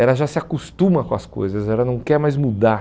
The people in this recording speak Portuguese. ela já se acostuma com as coisas, ela não quer mais mudar.